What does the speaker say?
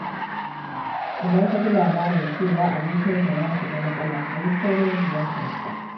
Idan ka ji labarin cewa abokinka ya shiga matsala, ka yi saurin ziyartar sa.